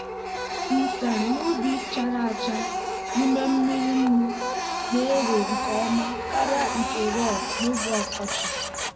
nsen n'ubi chara acha n'ime mmiri nnu na-ere nke ọma karịa nke raw n'oge ọkọchị.